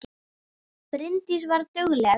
Bryndís var dugleg.